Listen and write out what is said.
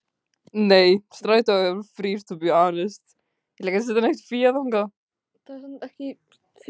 En eru sveitarfélögin tilbúin til að setja meira fé í strætó?